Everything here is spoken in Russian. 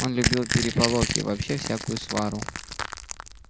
он любил переполох и вообще всякую свару